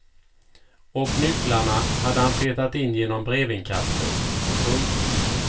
Och nycklarna hade han petat in genom brevinkastet. punkt